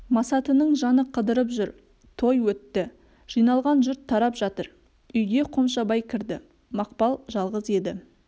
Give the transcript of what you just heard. масатының жаны қыдырып жүр той өтті жиналған жұрт тарап жатыр үйге қомшабай кірді мақпал жалғыз еді